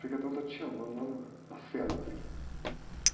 o frei está te chamando lá na, na cela dele.